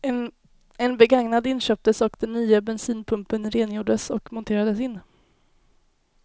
En begagnad inköptes och den nya bensinpumpen rengjordes och monterades in.